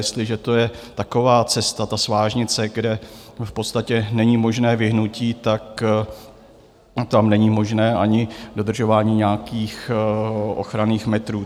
Jestliže to je taková cesta, ta svážnice, kde v podstatě není možné vyhnutí, tak tam není možné ani dodržování nějakých ochranných metrů.